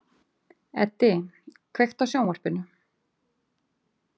Eddi, kveiktu á sjónvarpinu.